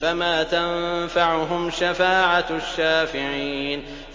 فَمَا تَنفَعُهُمْ شَفَاعَةُ الشَّافِعِينَ